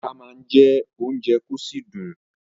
Ata má ń jẹ́ ounje kò sì dùn